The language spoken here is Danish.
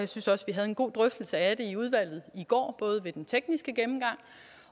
synes også vi havde en god drøftelse af det i udvalget i går både ved den tekniske gennemgang